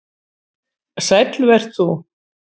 Sæll vert þú.